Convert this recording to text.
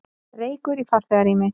Reykur í farþegarými